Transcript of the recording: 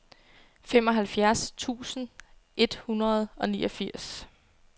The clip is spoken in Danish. femoghalvfjerds tusind et hundrede og niogfirs